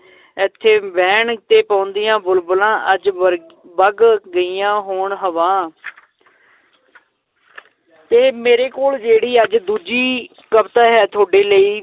ਏਥੇ ਵੈਣ ਤੇ ਪੌਂਦੀਆਂ ਬੁਲਬੁਲਾਂ ਅੱਜ ਵਰ~ ਵਗ ਗਈਆਂ ਹੋਣ ਹਵਾ ਤੇ ਮੇਰੇ ਕੋਲ ਜਿਹੜੀ ਅੱਜ ਦੂਜੀ ਕਵਿਤਾ ਹੈ ਤੁਹਾਡੇ ਲਈ